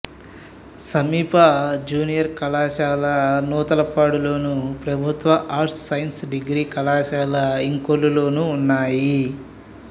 సమీప జూనియర్ కళాశాల నూతలపాడులోను ప్రభుత్వ ఆర్ట్స్ సైన్స్ డిగ్రీ కళాశాల ఇంకొల్లులోనూ ఉన్నాయి